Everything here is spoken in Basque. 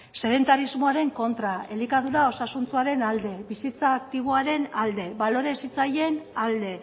sedentarismoaren kontra elikadura osasuntsuaren alde bizitza aktiboaren alde balore hezitzaileen alde